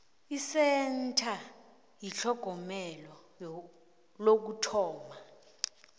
isentha yetlhogomelo lokuthoma